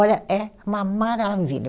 Olha, é uma maravilha.